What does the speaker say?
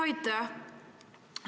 Aitäh!